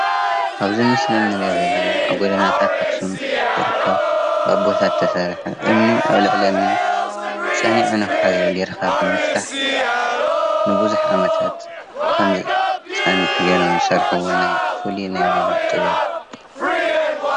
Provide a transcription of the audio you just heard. ኣብዚ ምስሊ ንሪኦ ዘለና ኣብ ጎደናታት ኣክሱም ዝርከብ ብኣቦታት ዝተሰርሐ እምኒ ኣብ ልዕሊ እምኒ ፀኒዑ ንክሕዝ ጌርካ ብምስራሕ ንብዙሕ ዓመታት ከም ዝፀንሕ ጌሮም ዝሰርሕዎ ፍሉይ ናይ ባዕሎም ጥበብ እዩ።